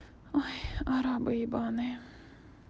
ой арабы ебаные